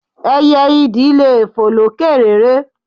Ẹyẹ idì le fò lókè réré.